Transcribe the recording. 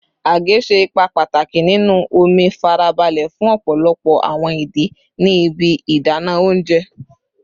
Age ṣe ipa pataki ninu omi farabale fun ọpọlọpọ awọn idi ni ibi idana ounjẹ